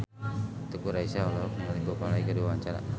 Teuku Rassya olohok ningali Bob Marley keur diwawancara